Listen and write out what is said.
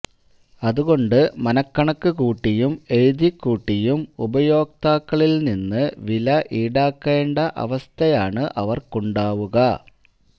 അതുകൊണ്ട് മനക്കണക്ക് കൂട്ടിയും എഴുതിക്കൂട്ടിയും ഉപയോക്താക്കളില് നിന്ന് വില ഈടാക്കേണ്ട അവസ്ഥയാണ് അവര്ക്കുണ്ടാവുക